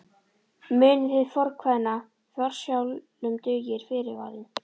Munið hið fornkveðna: Forsjálum dugir fyrirvarinn.